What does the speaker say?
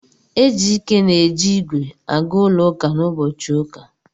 Ejike na-eji ígwè aga ụlọ ụka n'ụbọchị ụka.